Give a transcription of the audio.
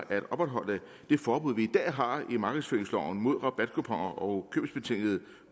at opretholde det forbud vi i dag har i markedsføringsloven mod rabatkuponer og købsbetingede